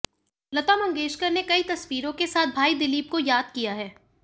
लता मंगेशक ने कई तस्वीरों के साथ भाई दिलीप को याद किया है